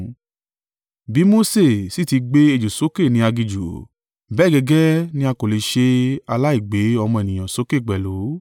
Bí Mose sì ti gbé ejò sókè ní aginjù, bẹ́ẹ̀ gẹ́gẹ́ ni a kò le ṣe aláìgbé Ọmọ Ènìyàn sókè pẹ̀lú.